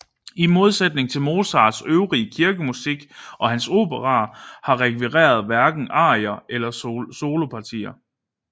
I modsætning til Mozarts øvrige kirkemusik og hans operaer har rekviet hverken arier eller solopartier